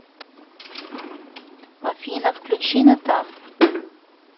афина включи натан